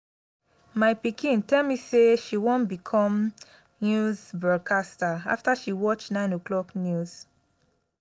my pikin tell me say she wan become news broadcaster after she watch 9 o'clock news